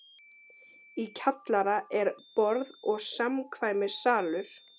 Í kjallara er: borð- og samkvæmissalur